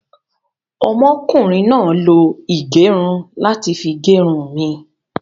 Ọmọ kùnrin náà lo ìgẹrun láti fi gẹrun mi